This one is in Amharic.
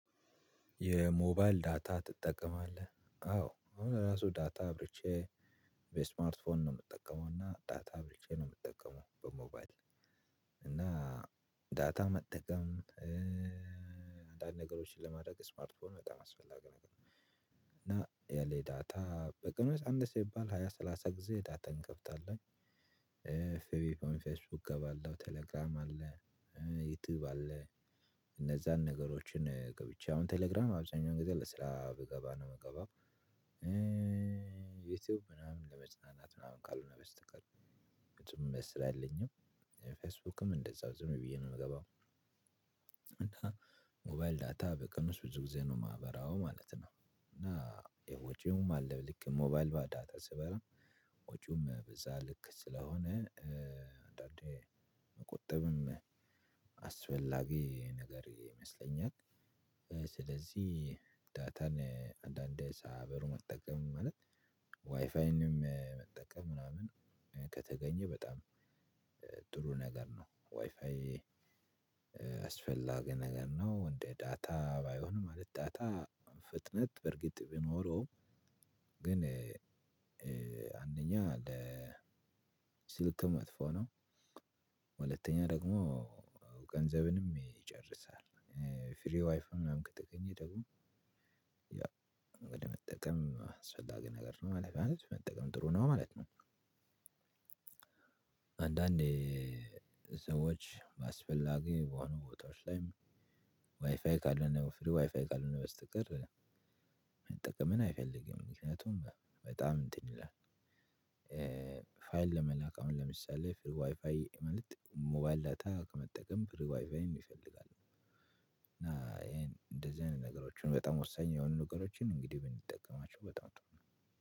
የሞባይል ዳታ ትጠቀማለህ አዎ አሁን ራሱ ዳታ አብርቼ በስማርት ፎን ነው የምጠቀመው እና ዳታ ብቻ ነው የምጠቀመው። በሞባይል እና ዳታ መጠቀም አንዳንድ ነገሮችን ለማድረግ ስማርትፎንም በጣም አስፈላጊ ነገር ነው። እና ያለ ዳታ በግምት አንድ ሰው ሃያ ሰላሳ ጊዜ ዳታን እንከፍታለን። ፌብሪፕመንት ፌስቡክ እገባለሁ ቴሌግራም አለ ዩቲዩብ አለ። እነዛን ነገሮችን ገብቼ አሁን ቴሌግራም አብዛኛውን ጊዜ ለስራ ገባለሁ። ዩቲዩብ ምናምን ለመዝናናት ምናምን ካልሆነ በስተቀር ብዙም ደስ አይለኝም። ፌስቡክም እንደዛው ዝም ብዬ ነው የምገባው። ሞባይል ዳታ በቀን ውስጥ ብዙ ጊዜ ነው ማበራው ማለት ነው። እና የወጪውም አለ ልክ ሞባይል በዳታ ስበራ ወጪውም በዛ ልክ ስለሆነ አንዳንዴ መቆጠብም አስፈላጊ ነገር ይመስለኛል። ስለዚህ ዳታን አንዳንዴ ሳያበሩ መጠቀም ማለት ዋይፋይንም መጠቀም ምናምን ከተገኘ በጣም ጥሩ ነገር ነው። ዋይፋይ አስፈላጊ ነገር ነው እንደ ዳታ ባይሆንም ማለት ዳታ ፍጥነት በርግጥ ቢኖረውም ግን አንደኛ ለስልክ መጥፎ ነው። ሁለተኛ ደግሞ ገንዘብንም ይጨርሳል። ፍሪ ዋይፍ ምናምን ከተገኘ ደግሞ ያን መጠቀም ስፈላጊ ነገር ነው ማለት ነው መጠቀም ጥሩ ነው ማለት ነው። አንዳንዴ ስራዎች አስፈላጊ የሆኑ ቦታዎች ላይ ዋይፋይ ካልሆነ ዋይፋይ ካልሆነ በስተቀር መጠቀም አለልግም ምክንያቱም በጣም እንትን ይላል። ፋይል ለመላክ አሁን ለምሳሌ ዋይፋይ ሞባይል ዳታ ከመጠቀም በዋይፋይን ይፈልጋል። እና ይሄን እንደዚህ አይነት ነገሮችን በጣም ወሳኝ የሆኑ ነገሮችን እንግዲህ ብንጠቀማቸው በጣም ጥሩ ነው።